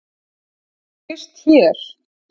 Þú gætir gist hér.